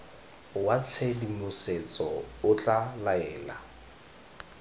wa tshedimosetso o tla laela